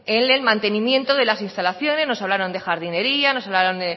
en el mantenimiento de las instalaciones nos hablaron de jardinería nos hablaron